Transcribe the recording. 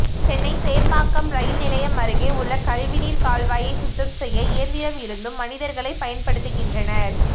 சென்னை சேப்பாக்கம் ரயில் நிலையம் அருகே உள்ள கழிவுநீர் கால்வாயை சுத்தம் செய்ய இயந்திரம் இருந்தும் மனிதர்களை பயன்படுத்துகின்றனர்